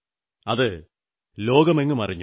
അത് ലോകമെങ്ങുമറിഞ്ഞു